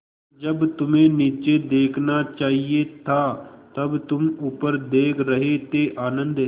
जब तुम्हें नीचे देखना चाहिए था तब तुम ऊपर देख रहे थे आनन्द